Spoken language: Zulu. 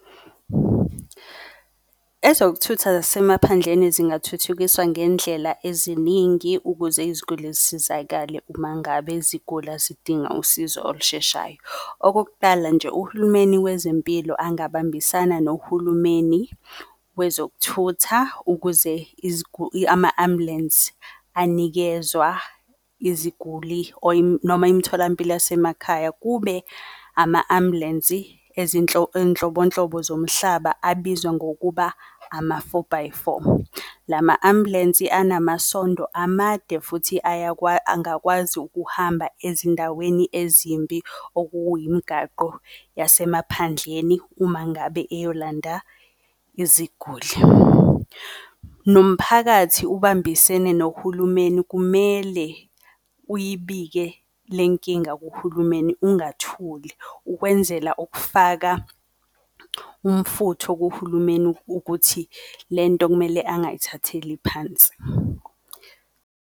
Ezokuthutha zasemaphandleni zingathuthukiswa ngendlela eziningi ukuze iziguli zisizakale uma ngabe zigula zidinga usizo olusheshayo. Okokuqala nje, uhulumeni wezempilo abangabambisana nohulumeni wezokuthutha, ukuze iziguli, ama-ambulensi anikezwa iziguli or noma imitholampilo yasemakhaya, kube ama-ambulensi eyinhlobonhlobo zomhlaba, abizwa, ngokuba ama-four by four. La ma-ambulensi anamasondo amade futhi angakwazi ukuhamba ezindaweni ezimbi okuyimigaqo yasemaphandleni uma ngabe eyolanda iziguli. Nomphakathi ubambisene nohulumeni, kumele uyibike le nkinga kuhulumeni, ingathuli ukwenzela ukufaka umfutho kuhulumeni, ukuthi lento kumele angayithatheli phansi.